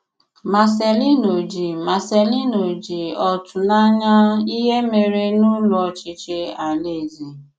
Marcelino ji Marcelino ji ọ̀tụ̀ n’anya ìhè mèrè n’Ụ́lọ̀ Ọchịchị ala-eze.